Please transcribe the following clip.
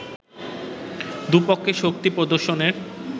দু’পক্ষের শক্তি প্রদর্শনের